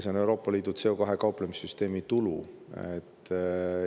See on CO2‑ga kauplemise Euroopa Liidu süsteemi tulu.